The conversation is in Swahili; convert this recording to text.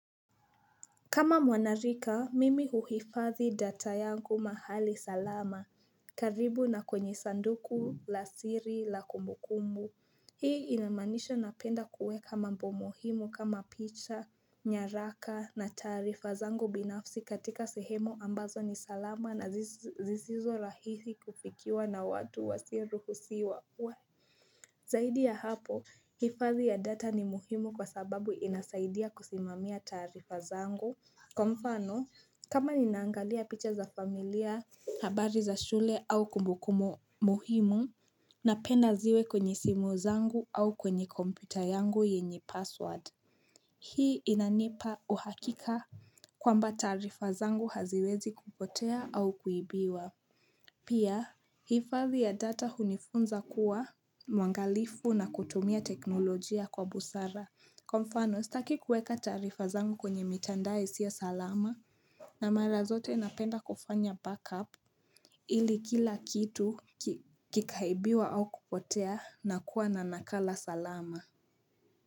Kama mwanarika, mimi uhifadhi data yangu mahali salama. Karibu na kwenye sanduku, la siri, la kumbukumbu. Hii inamanisha napenda kuweka mambo muhimu kama picha, nyaraka na tarifa zangu binafsi katika sehemo ambazo ni salama na zisizo rahisi kufikiwa na watu wasioruhusiwa. Zaidi ya hapo, hifadhi ya data ni muhimu kwa sababu inasaidia kusimamia tarifa zangu. Kwa mfano, kama ninaangalia picha za familia, habari za shule au kumbukumo muhimu, napenda ziwe kwenye simu zangu au kwenye kompyuta yangu yenye password. Hii inanipa uhakika kwamba tarifa zangu haziwezi kupotea au kuibiwa. Pia, hifadhi ya data hunifunza kuwa mwangalifu na kutumia teknolojia kwa busara. Kwa mfano, sitaki kuweka tarifa zangu kwenye mitandao isiyo salama na mara zote napenda kufanya backup ili kila kitu kikaibiwa au kupotea na kuwa na nakala salama.